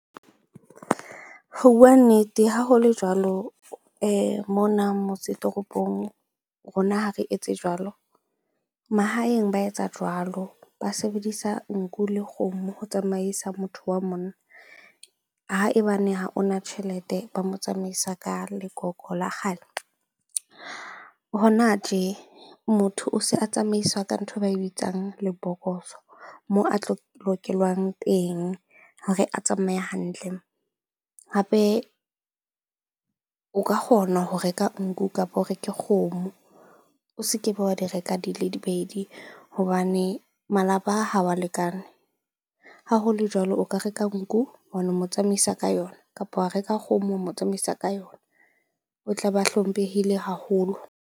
Ho bua nnete, ha ho le jwalo mona motse toropong. Rona ha re etse jwalo mahaeng ba etsa jwalo. Ba sebedisa nku le kgomo ho tsamaisa motho wa . Haebane ha o na tjhelete, ba mo tsamaisa ka lekoko la kgale. Hona tje, motho o se a tsamaiswa ka nthwe ba e bitsang lebokoso moo a tlo teng hore a tsamaye hantle. Hape o ka kgona ho reka nku kapo o reke kgomo, o se kebe wa di reka di pedi hobane malapa ha wa lekane. Ha ho le jwalo, o ka reka nku mo tsamaisa ka yona, kapa wa reka kgomo mo tsamaisa ka yona. O tla be a hlomphehile haholo.